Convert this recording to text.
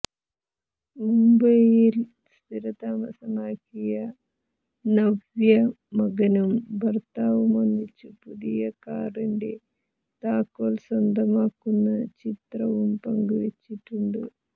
മുംബൈയിൽ സ്ഥിരതാമസമാക്കിയ നവ്യ മകനും ഭർത്താവുമൊന്നിച്ച് പുതിയ കാറിന്റെ താക്കോൽ സ്വന്തമാക്കുന്ന ചിത്രവും പങ്കുവെച്ചിട്ടുണ്ട്